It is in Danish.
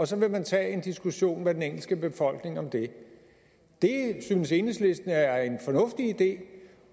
så vil tage en diskussion med den engelske befolkning om det det synes enhedslisten er en fornuftig idé